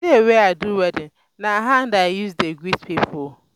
di day wey i do wedding na hand i use dey greet pipo.